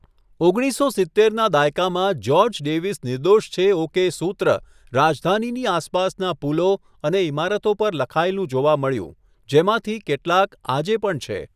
ઓગણીસસો સિત્તેરના દાયકામાં 'જ્યોર્જ ડેવિસ નિર્દોષ છે ઓકે' સૂત્ર રાજધાનીની આસપાસના પુલો અને ઇમારતો પર લખાયેલું જોવા મળ્યું, જેમાંથી કેટલાક આજે પણ છે.